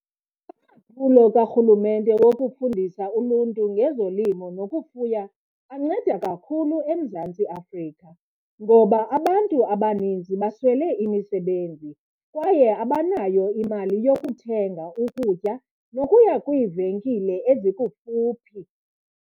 Amaphulo karhulumente wokufundisa uluntu ngezolimo nokufuya anceda kakhulu eMzantsi Afrika ngoba abantu abaninzi baswele imisebenzi kwaye abanayo imali yokuthenga ukutya nokuya kwiivenkile ezikufuphi.